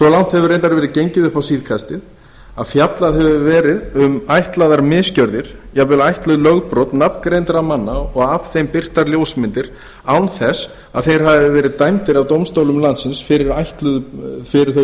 reyndar verið gengið upp á síðkastið að fjallað hefur verið um ætlaðar misgjörðir jafnvel ætluð lögbrot nafngreindra manna og af þeim birtar ljósmyndir án þess að þeir hafi verið dæmdir af dómstólum landsins fyrir þau